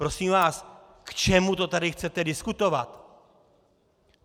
Prosím vás, k čemu to tady chcete diskutovat!